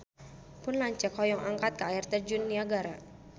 Pun lanceuk hoyong angkat ka Air Terjun Niagara